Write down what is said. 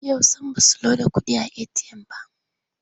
Yau sam ba su loda kuɗi a eti'yam ba.